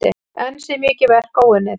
Enn sé mikið verk óunnið.